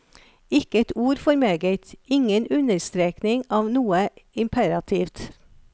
Ikke et ord for meget, ingen understrekning av noe imperativt.